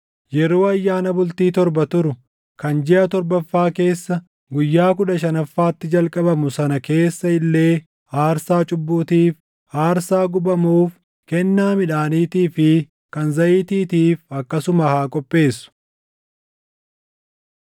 “ ‘Yeroo ayyaana bultii torba turu kan jiʼa torbaffaa keessa guyyaa kudha shanaffaatti jalqabamu sana keessa illee aarsaa cubbuutiif, aarsaa gubamuuf, kennaa midhaaniitii fi kan zayitiitiif akkasuma haa qopheessu.